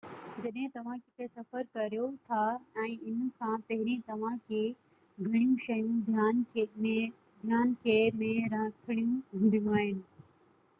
جڏهن توهان ڪٿي سفر ڪريو ٿا ۽ ان کان پهرين توهان کي گهڻيون شيون ڌيان کي ۾ رکڻيون هونديون آهن